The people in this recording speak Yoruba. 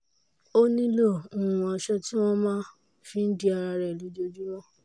ó nílò um aṣọ tí wọ́n á máa fi di ara rẹ̀ lójoojúmọ́